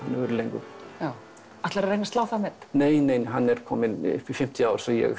verið lengur já ætlarðu að reyna að slá það met nei nei hann er kominn upp í fimmtíu ár svo ég